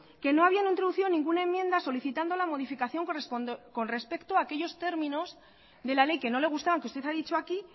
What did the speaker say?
que no habían introducido ninguna enmienda solicitando la modificación con respecto a aquellos términos de la ley que no le gustaban que usted ha dicho aquí